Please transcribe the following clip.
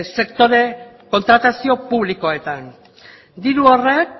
sektore kontratazio publikoetan diru horrek